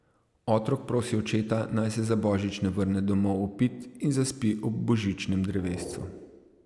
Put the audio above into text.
Otrok prosi očeta, naj se za božič ne vrne domov opit in zaspi ob božičnem drevescu.